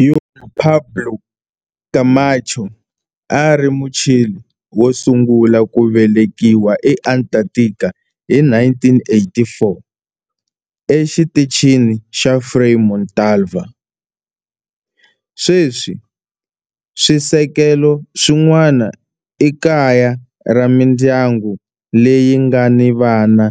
Juan Pablo Camacho a a ri Muchile wo sungula ku velekiwa eAntarctica hi 1984 eXitichini xa Frei Montalva. Sweswi swisekelo swin'wana i kaya ra mindyangu leyi nga ni vana